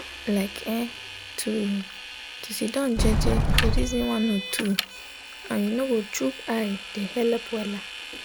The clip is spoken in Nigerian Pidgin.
like[um]to to sitdon jeje de reson one or two and u nor go choke eye de helep wella